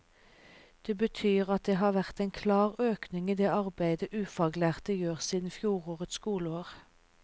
Det betyr at det har vært en klar økning i det arbeidet ufaglærte gjør siden fjorårets skoleår.